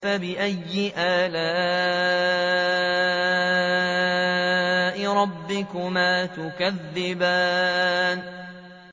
فَبِأَيِّ آلَاءِ رَبِّكُمَا تُكَذِّبَانِ